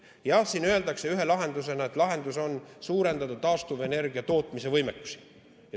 Jah, öeldakse, et üks lahendus on suurendada taastuvenergiatootmise võimekusi.